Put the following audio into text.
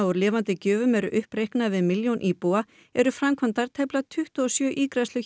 úr lifandi gjöfum eru uppreiknaðar miðað við milljón íbúa eru framkvæmdar tæplega tuttugu og sjö ígræðslur